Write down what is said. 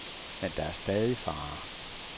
Men der er stadig farer.